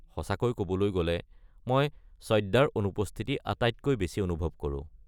সঁচাকৈ ক'বলৈ গ'লে মই সদ্যাৰ অনুপস্থিতি আটাইতকৈ বেছি অনুভৱ কৰোঁ।